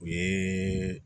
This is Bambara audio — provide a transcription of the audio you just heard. O ye